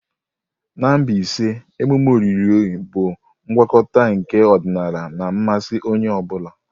Na Mbaise, emume olili bụ ngwakọta nke ọdịnala na mmasị onye ọ bụla.